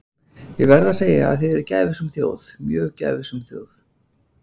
Ég verð að segja að þið eruð gæfusöm þjóð, mjög gæfusöm þjóð.